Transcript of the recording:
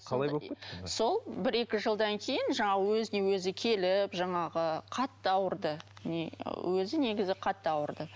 қалай болып кетті сол бір екі жылдан кейін жаңағы өзіне өзі келіп жаңағы қатты ауырды өзі негізі қатты ауырды